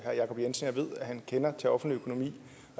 herre jacob jensen og ved at han kender til offentlig økonomi